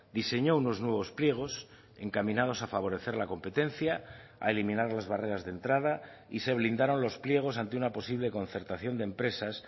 diseñó unos nuevos pliegos encaminados a favorecer la competencia a eliminar las barreras de entrada y se blindaron los pliegos ante una posible concertación de empresas